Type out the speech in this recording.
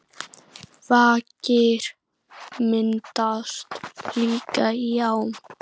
Vakir myndast líka í ám.